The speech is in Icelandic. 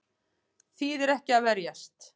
Þýðir ekki að verjast